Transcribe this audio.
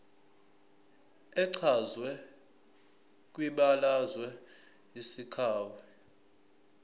echazwe kwibalazwe isakhiwo